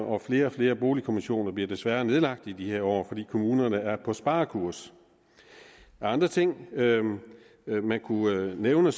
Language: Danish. og flere og flere boligkommissioner bliver desværre nedlagt i de her år fordi kommunerne er på sparekurs af andre ting man kunne nævne